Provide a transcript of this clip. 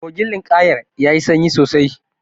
Kogin linƙayar yayi sanyi sosai.